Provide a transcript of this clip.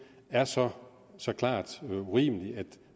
er så så klart urimeligt at